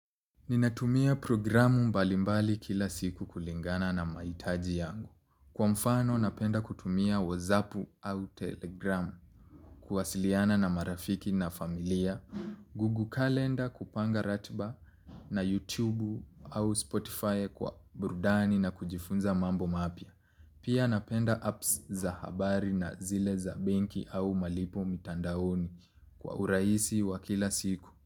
Ninatumia programu mbalimbali kila siku kulingana na mahitaji yangu. Kwa mfano napenda kutumia WhatsApp au Telegram. Kuwasiliana na marafiki na familia. Goggle kalenda kupanga ratiba na YouTube au Spotify kwa burudani na kujifunza mambo mapya. Pia napenda apps za habari na zile za benki au malipo mitandaoni kwa urahisi wa kila siku.